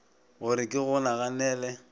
go re ke go naganele